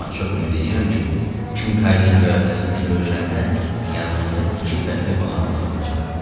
Amma çox ümid edirəm ki, Kinkaydın göyərtəsində görüşəndə yanımızda iki fəxri qonağımız olacaq.